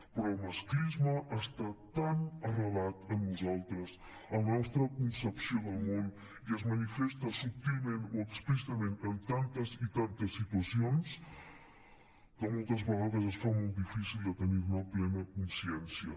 però el masclisme està tan arrelat en nosaltres en la nostra concepció del món i es manifesta subtilment o explícitament en tantes i tantes situacions que moltes vegades es fa molt difícil de tenir ne plena consciència